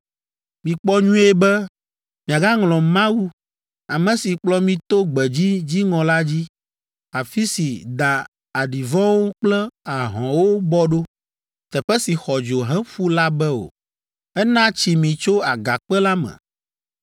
Mikpɔ nyuie be, miagaŋlɔ Mawu, ame si kplɔ mi to gbedzi dziŋɔ la dzi, afi si da aɖivɔ̃wo kple ahɔ̃wo bɔ ɖo, teƒe si xɔ dzo heƒu la be o. Ena tsi mi tso Agakpe la me!